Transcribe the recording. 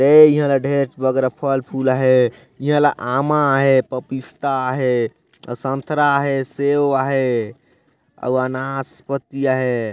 ए इहा ला ढेर बग़रा फल फूल आहय इहा आमा आहय पपीता आहय साँथरा आहे सेव आहे नाशपाती आहे।